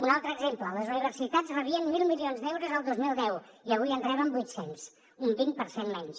un altre exemple les universitats rebien mil milions d’euros el dos mil deu i avui en reben vuit cents un vint per cent menys